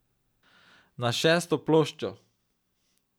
Na šesto ploščo ...